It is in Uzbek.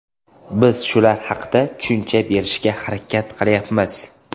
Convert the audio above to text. Biz shular haqda tushuncha berishga harakat qilyapmiz.